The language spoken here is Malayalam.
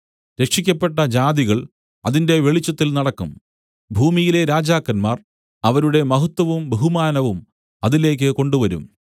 രക്ഷിയ്ക്കപ്പെട്ട ജാതികൾ അതിന്റെ വെളിച്ചത്തിൽ നടക്കും ഭൂമിയിലെ രാജാക്കന്മാർ അവരുടെ മഹത്വവും ബഹുമാനവും അതിലേക്ക് കൊണ്ടുവരും